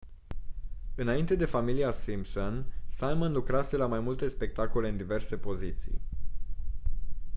înainte de familia simpson simon lucrase la mai multe spectacole în diverse poziții